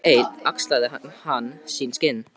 Dag einn axlaði hann sín skinn.